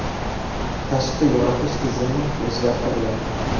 Tashqi yoritish tizimi o‘zgartiriladi.